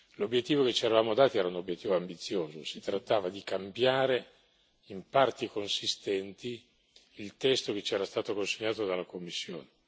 L'obiettivo che ci eravamo dati era un obiettivo ambizioso. Si trattava di cambiare in parti consistenti il testo che ci era stato consegnato dalla Commissione.